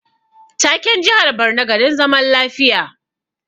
Taken jihar Borno garin zaman lafiya